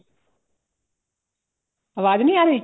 ਆਵਾਜ ਨੀ ਆਰੀ